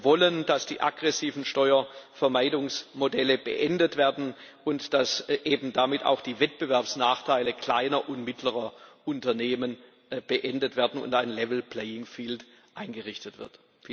Wir wollen, dass die aggressiven Steuervermeidungsmodelle beendet werden und dass eben damit auch die Wettbewerbsnachteile kleiner und mittlerer Unternehmen beendet werden und ein level playing field eingerichtet wird.